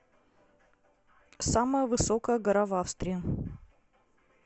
самая высокая гора в австрии